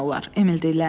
Emil dilləndi.